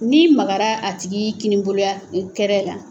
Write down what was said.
Ni magara a tigi kini bolo ya kɛrɛ la.